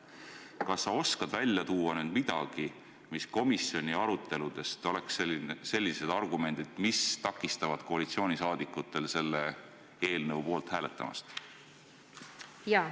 Kas sa oskad välja tuua midagi, millised olid komisjoni aruteludel sellised argumendid, mis takistavad koalitsioonisaadikutel selle eelnõu poolt hääletamast?